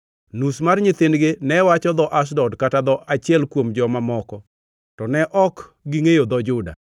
Nus mar nyithindgi ne wacho dho Ashdod kata dho achiel kuom joma moko, to ne ok gi ngʼeyo dho Juda.